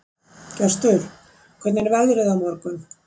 Gestur, hvernig er veðrið á morgun?